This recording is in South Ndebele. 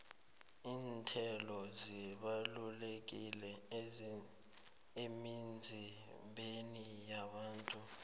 iinthelo zibalulekile emizimbeni yabantu